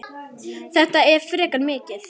Þetta er frekar mikið.